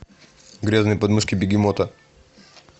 грязные подмышки бегемота